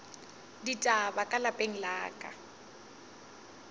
ditaba ka lapeng la ka